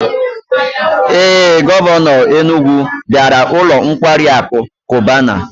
Ee, Govano Enugwu biara ulo nkwari aku Cubana